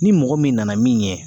Ni mɔgɔ min nana min ɲɛ